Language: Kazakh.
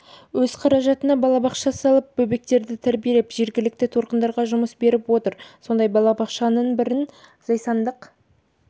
өз қаражатына балабақша салып бөбектерді тәрбилеп жергілікті тұрғындарға жұмыс беріп отыр сондай балабақшаның бірін зайсандық